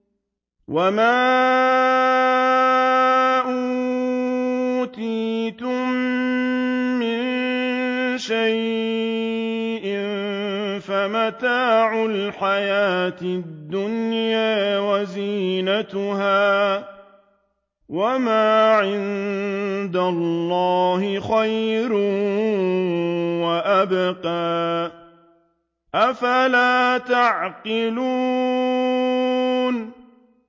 وَمَا أُوتِيتُم مِّن شَيْءٍ فَمَتَاعُ الْحَيَاةِ الدُّنْيَا وَزِينَتُهَا ۚ وَمَا عِندَ اللَّهِ خَيْرٌ وَأَبْقَىٰ ۚ أَفَلَا تَعْقِلُونَ